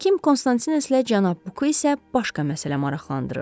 Həkim Konstantineslə cənab Buku isə başqa məsələ maraqlandırırdı.